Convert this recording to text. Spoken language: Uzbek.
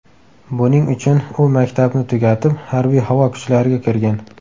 Buning uchun u maktabni tugatib Harbiy-havo kuchlariga kirgan.